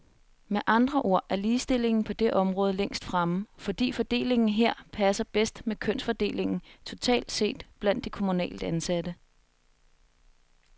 Med andre ord er ligestillingen på det område længst fremme, fordi fordelingen her passer bedst med kønsfordelingen totalt set blandt de kommunalt ansatte.